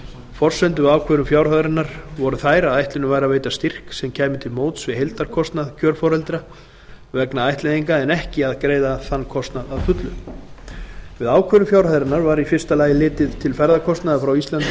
forsendur við ákvörðun fjárhæðarinnar voru þær að ætlunin væri að veita styrk sem kæmi til móts við heildarkostnað kjörforeldra vegna ættleiðinga en ekki að greiða þann kostnað að fullu við ákvörðun fjárhæðarinnar var í fyrsta lagi litið til ferðakostnaðar frá íslandi